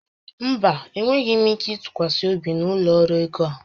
Mba, enweghị ike ịtụkwasị obi n'ụlọ ọrụ ego a